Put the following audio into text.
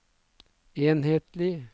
enhetlig